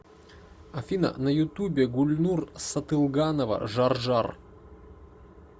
афина на ютубе гульнур сатылганова жар жар